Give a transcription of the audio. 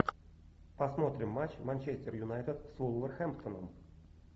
посмотрим матч манчестер юнайтед с вулверхэмптоном